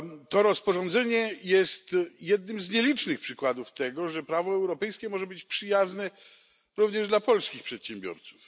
To rozporządzenie jest jednym z nielicznych przykładów tego, że prawo europejskie może być przyjazne również dla polskich przedsiębiorców.